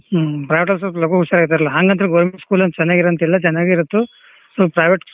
ಅಹ್ private ದಾಗ್ ಸಲ್ಪ ಲಗೂ ಹುಷಾರ್ ಆಕರಲ್ಲ ಹಂಗಂತ್ರ್ government school ಚನಾಗ್ ಇಲ್ಲಾಂತಲ್ಲ ಚನಾಗ್ ಇರುತ್ತು ಸ್ವಲ್ಪ private school .